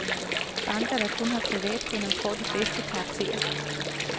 Banker, der kun har privatkunder, får de bedste karakterer.